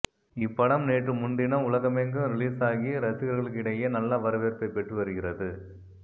இப்படம் நேற்று முன்தினம் உலகமெங்கும் ரிலீஸாகி ரசிகர்களிடையே நல்ல வரவேற்பை பெற்று வருகிறது